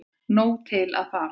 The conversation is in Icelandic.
Nóg til að fara